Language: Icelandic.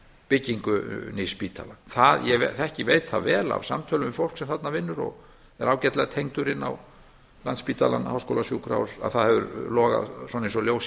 byggingu nýs spítala ég veit það vel af samtölum við fólk sem þarna vinnur og er ágætlega tengdur inn á landspítala háskólasjúkrahúss að það hefur logað eins og ljós í